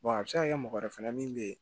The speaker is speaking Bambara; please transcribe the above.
a bɛ se ka kɛ mɔgɔ wɛrɛ fɛnɛ min bɛ ye